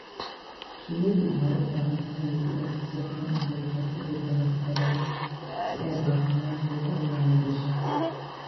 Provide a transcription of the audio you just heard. Shinnidu waxay u baahan tahay bay'ad si sahlan u heli karta dhirta nafaqada leh si ay caafimaadkooda u wanaajiso.